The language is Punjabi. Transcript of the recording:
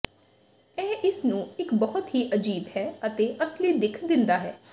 ਇਹ ਇਸ ਨੂੰ ਇੱਕ ਬਹੁਤ ਹੀ ਅਜੀਬ ਹੈ ਅਤੇ ਅਸਲੀ ਦਿੱਖ ਦਿੰਦਾ ਹੈ